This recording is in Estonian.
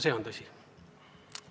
See on tõsi.